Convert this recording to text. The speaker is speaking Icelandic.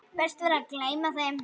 Best væri að gleyma þeim.